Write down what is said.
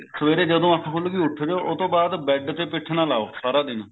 ਸਵੇਰੇ ਜਦੋਂ ਅੱਖ ਖੁੱਲਗੀ ਉੱਠ ਜੋ ਉਹ ਤੋਂ ਬਾਅਦ bed ਤੇ ਪਿਠ ਨਾ ਲਓ ਸਾਰਾ ਦਿਨ